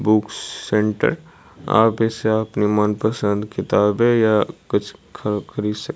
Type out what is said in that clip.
books centre आप इससे अपनी मनपसंद किताबें या कुछ ख खरीद सक--